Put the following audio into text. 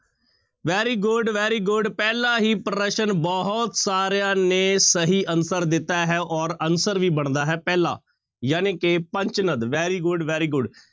Very good, very good ਪਹਿਲਾ ਹੀ ਪ੍ਰਸ਼ਨ ਬਹੁਤ ਸਾਰਿਆਂ ਨੇ ਸਹੀ answer ਦਿੱਤਾ ਹੈ ਔਰ answer ਵੀ ਬਣਦਾ ਹੈ ਪਹਿਲਾ ਜਾਣੀ ਕਿ ਪੰਚ ਨਦ very good, very good